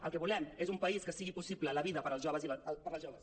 el que volem és un país en què sigui possible la vida per als joves i per a les joves